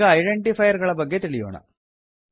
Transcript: ಈಗ ಐಡೆಂಟಿಫೈರ್ ಗಳ ಬಗ್ಗೆ ತಿಳಿಯೋಣ